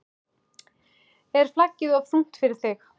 Er flaggið of þungt fyrir þig???